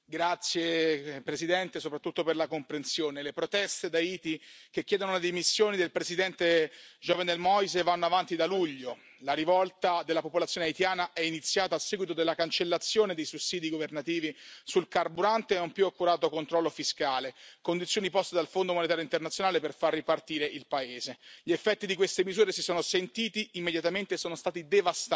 Signora Presidente, onorevoli colleghi, le proteste ad Haiti, che chiedono le dimissioni del Presidente Jovenel Moïse, vanno avanti da luglio. La rivolta della popolazione haitiana è iniziata a seguito della cancellazione dei sussidi governativi sul carburante e di un più accurato controllo fiscale, condizioni poste dal Fondo monetario internazionale per far ripartire il paese. Gli effetti di queste misure si sono sentiti immediatamente e sono stati devastanti.